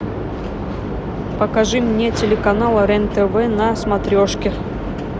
покажи мне телеканал рен тв на смотрешке